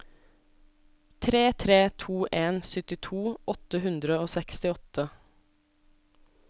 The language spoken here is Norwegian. tre tre to en syttito åtte hundre og sekstiåtte